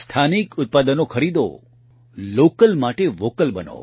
સ્થાનિક ઉત્પાદનો ખરીદો લોકલ માટે વોકલ બનો